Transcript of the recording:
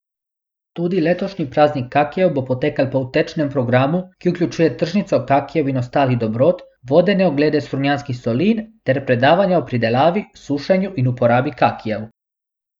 Tudi letošnji praznik kakijev bo potekal po utečenem programu, ki vključuje tržnico kakijev in ostalih dobrot, vodene oglede Strunjanskih solin, ter predavanja o pridelavi, sušenju in uporabi kakijev.